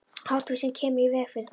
Háttvísin kemur í veg fyrir það.